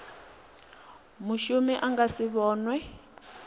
mushumi a nga si vhonwe